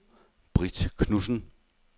Britt Knudsen